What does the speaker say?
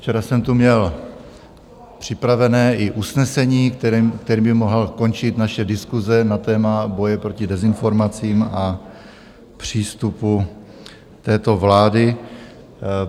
Včera jsem tu měl připravené i usnesení, kterým by mohla končit naše diskuse na téma boje proti dezinformacím a přístupu této vlády.